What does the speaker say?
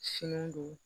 Fini don